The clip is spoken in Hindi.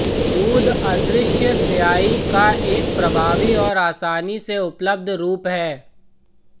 दूध अदृश्य स्याही का एक प्रभावी और आसानी से उपलब्ध रूप है